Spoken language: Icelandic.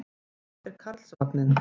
Það er Karlsvagninn.